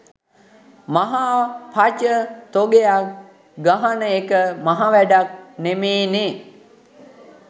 මහා පච තොගයක් ගහන එක මහා වැඩක් නෙමේනේ.